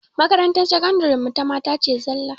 Makarantar sakandiren mu ta mata ce zallah